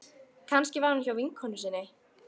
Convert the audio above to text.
Kannski var hún hjá vinkonu sinni.